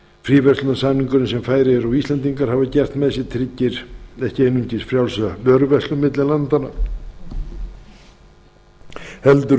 fríverslunarsamningurinn sem færeyingar og íslendingar hafa gert með sér tryggir ekki einungis frjálsa vöruverslun milli landanna heldur